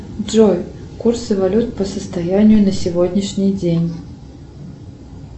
джой курсы валют по состоянию на сегодняшний день